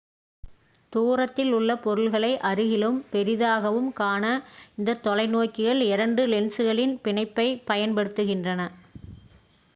தூரத்தில் உள்ள பொருள்களை அருகிலும் பெரிதாகவும் காண இந்தத் தொலை நோக்கிகள் இரண்டு லென்ஸ்களின் பிணைப்பை பயன் படுத்துகின்றன